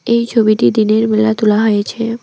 এই ছবিটি দিনের বেলায় তুলা হয়েছে।